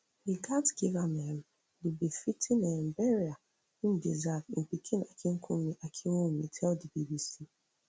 we gatz give am um di befitting um burial im deserve im pikin akinkunmi akinwumi tell di bbc